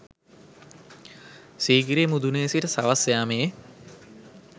සීගිරිය මුදුනේ සිට සවස් යාමයේ